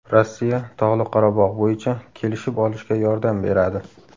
Rossiya Tog‘li Qorabog‘ bo‘yicha kelishib olishga yordam beradi.